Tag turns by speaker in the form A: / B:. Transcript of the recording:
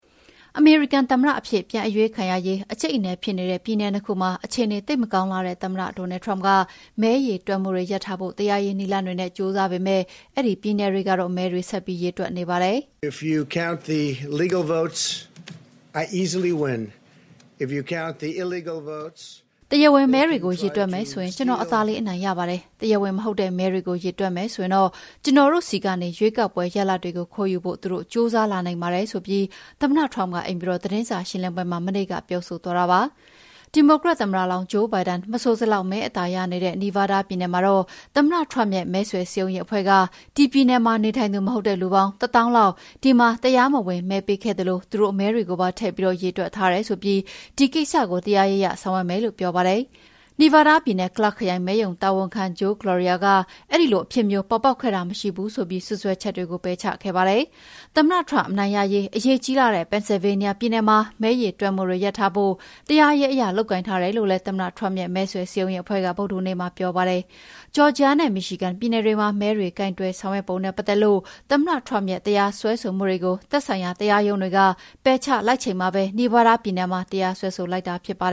A: အမေရိကန်သမ္မတအဖြစ် ပြန်အရွေးခံရရေး အကြိတ်အနယ်ဖြစ်နေတဲ့ ပြည်နယ် ၂ ခုမှာ အခြေအနေ သိပ်မကောင်းလှတဲ့ သမ္မတ Donald Trump က မဲရေတွက်မှုတွေ ရပ်ထားဖို့ တရားရေး နည်းလမ်းတွေနဲ့ ကြိုးစားပေမဲ့ အဲဒီပြည်နယ်တွေကတော့ မဲတွေဆက်ပြီးရေတွက်နေပါတယ်။
B: “
A: တရားဝင်မဲတွေကို ရေတွက်မယ်ဆိုရင် ကျနော်အသာလေး အနိုင်ရပါတယ်။ တရားဝင်မဟုတ်တဲ့ မဲတွေကို ရေတွက်မယ်ဆိုရင် ကျနော်တို့ဆီကနေ ရွေေးကာက်ပွဲရလဒ်ကို ခိုးယူဖို့ သူတို့ ကြိုးစားလာနိုင်ပါတယ်။" ဆိုပြီး သမ္မတ Trump ကအိမ်ဖြူတော်သတင်းစာရှင်းလင်းပွဲမှာ မနေ့က ပြောဆိုသွားတာပါ။ ဒီမိုကရက်သမ္မတလောင်း Joe Biden မဆိုစလောက် မဲအသာရနေတဲ့ နီဗားဒါးပြည်နယ်မှာတော့ သမ္မတ Trump ရဲ့မဲဆွယ်စည်းရုံးရေးအဖွဲ့က ဒီပြည်နယ်မှာ နေထိုင်သူမဟုတ်တဲ့လူပေါင်း ၁၀,၀၀၀ လောက် ဒီမှာ တရားမဝင်မဲပေးခဲ့သလို သူတို့မဲတွေကိုပါ ထည့်ပြီးရေတွက်ထားတယ်ဆိုပြီး ဒီကိစ္စကို တရားရေးအရဆောင်ရွက်မယ်လို့ ပြောပါတယ်။ နီဗားဒါးပြည်နယ်၊ Clark ခရိုင် မဲရုံတာဝန်ခံ Joe Gloria က အဲဒီလိုအဖြစ်မျိုး ပေါ်ပေါက်ခဲ့တာမရှိဘူးဆိုပြီး စွပ်စွဲချက်တွေကို ပယ်ချခဲ့တာပါ။ သမ္မတTrump အနိုင်ရရေး အရေးကြီးလှတဲ့ ပန်ဆယ်လ်ဗေးနီးယားပြည်နယ်မှာ မဲရေတွက်မှုတွေ ရပ်ထားဖို့ တရားရေးအရ လုပ်ကိုင်ထားတယ်လို့လည်း သမ္မတ Trump ရဲ့ မဲဆွယ်စည်းရုံးရေးအဖွဲ့က ဗုဒ္ဓဟူးနေ့မှာ ကြေငြာခဲ့ပါတယ်။ ဂျော်ဂျီယာနဲ့ မီရှီဂန်ပြည်နယ်တွေမှာ မဲတွေ ကိုင်တွယ်ဆောင်ရွက်ပုံနဲ့ ပတ်သက်လို့ သမ္မတ Trump ရဲ့ တရားစွဲဆိုမှုတွေကို သက်ဆိုင်ရာ တရားရုံးတွေက ပယ်ချလိုက်ချိန်မှာပဲ နီဗားဒါးပြည်နယ်မှာ တရားစွဲဆို လိုက်တာပါ